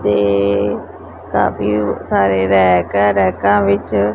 ਤੇ ਕਾਫੀ ਸਾਰੇ ਰੈਕ ਹੈ ਰੈਕਾਂ ਵਿੱਚ--